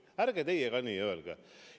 Ärge teie ka nii öelge!